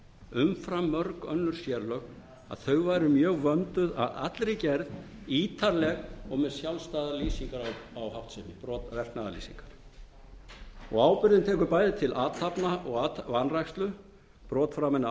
umfram mörg önnur sérlög að þau væru mjög vönduð að allri gerð ítarleg og með sjálfstæðar verknaðarlýsingar á háttsemi og ábyrgðin tekur bæði til athafna og vanrækslu brot framin ábyrgðin tekur bæði til athafna og vanrækslu brota framinna af